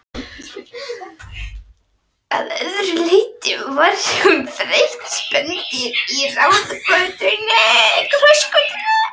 Að öðru leyti var hún þreytt spendýr að ráða krossgátu.